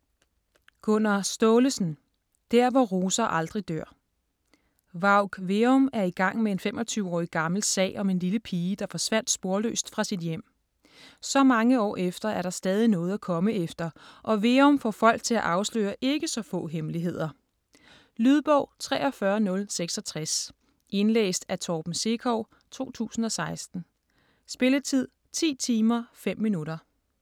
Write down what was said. Staalesen, Gunnar: Der hvor roser aldrig dør Varg Veum er i gang med en 25 år gammel sag om en lille pige, der forsvandt sporløst fra sit hjem. Så mange år efter er der stadig noget at komme efter, og Veum får folk til at afsløre ikke så få hemmeligheder. Lydbog 43066 Indlæst af Torben Sekov, 2016. Spilletid: 10 timer, 5 minutter.